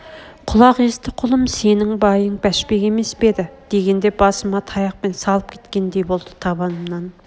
құлақ кесті құлым сенің байың бәшбек емес пе еді дегенде басыма таяқпен салып кеткендей болды табанымнан